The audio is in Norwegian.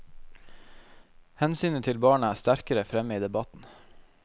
Hensynet til barna er sterkere fremme i debatten.